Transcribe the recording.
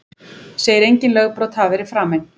Segir engin lögbrot hafa verið framin